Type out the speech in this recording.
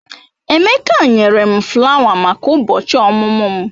Emeka nyere m flawa maka ụbọchị ọmụmụ m.